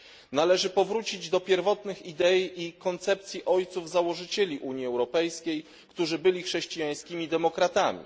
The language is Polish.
Należy powrócić do pierwotnych idei i koncepcji ojców założycieli Unii Europejskiej, którzy byli chrześcijańskimi demokratami.